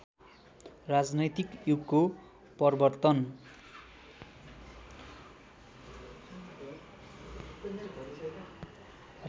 राजनैतिक युगको प्रवर्तन